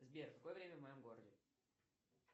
сбер какое время в моем городе